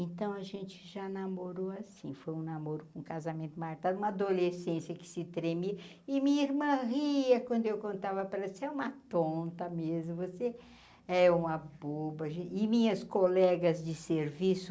Então a gente já namorou assim, foi um namoro com o casamento marcado, uma adolescência que se tremia, e me irmã ria quando eu contava para ela você é uma tonta mesmo, você é uma boba, a gen e minhas colegas de serviço,